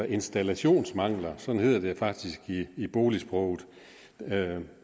installationsmangler sådan hedder det faktisk i boligsproget